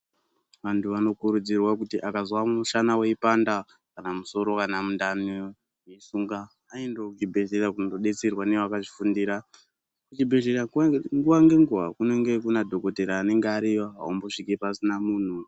Vanthu vanokurudzirwa kuti akazwa mushana weipanda kana musoro kana mundani meisunga aendeo kuchibhedhleya kundodetserwa nevakazvifunda kuchibhedhleya nguwa ngenguwa kunenge kuna dhokotera anenge ariyo aumbosviki pasina munthu.